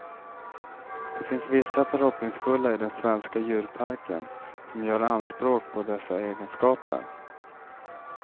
Det finns vissa förhoppningsfulla i den svenska djurparken som gör anspråk på dessa egenskaper.